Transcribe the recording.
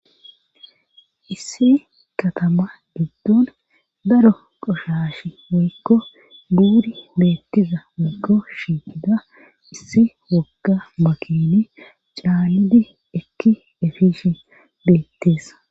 Issi katama giddon daro qoshashshi woykko buuri beettiza woykko shitida issi wogga makini caanidi ekki efishshin beettees